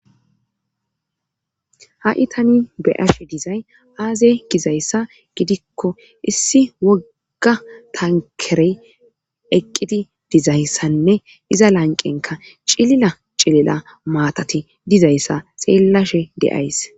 ha7i tani beyashe dizay aazey gizayssa gidikko issi wogga tankerey eqqidi dizayssanne iza lanqenka cilila cilila maatati dizayssa seellashe deays